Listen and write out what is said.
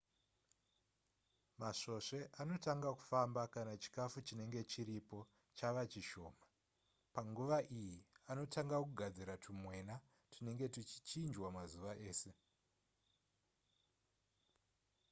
masvosve anotanga kufamba kana chikafu chinenge chiripo chava chishoma panguva iyi anotanga kugadzira tumwena tunenge tuchichinjwa mazuva ese